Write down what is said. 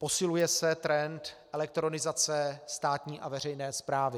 Posiluje se trend elektronizace státní a veřejné správy.